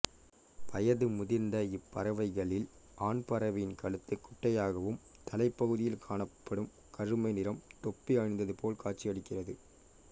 வயது முதிர்ந்த இப்பறவைகளில் ஆண் பறவையின் கழுத்து குட்டையாகவும் தலைப்பகுதியில் காணப்படும் கருமைநிறம் தொப்பி அணிந்ததுபோல் காட்சி அளிக்கிறது